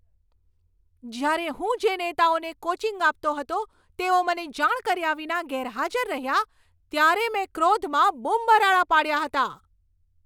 જ્યારે હું જે નેતાઓને કોચિંગ આપતો હતો તેઓ મને જાણ કર્યા વિના ગેરહાજર રહ્યા ત્યારે મેં ક્રોધમાં બૂમબરાડા પાડ્યા હતા.